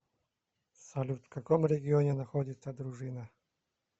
салют в каком регионе находится дружина